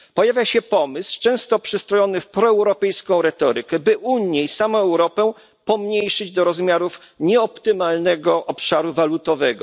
Pojawia się pomysł, często przystrojony w proeuropejską retorykę, by Unię i samą Europę pomniejszyć do rozmiarów nieoptymalnego obszaru walutowego.